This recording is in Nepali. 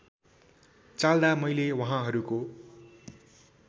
चाल्दा मैले वहाँहरूको